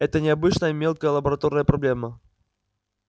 это не обычная мелкая лабораторная проблема